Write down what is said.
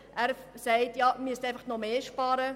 Herr Wyss sagt ja, wir müssten einfach noch mehr sparen.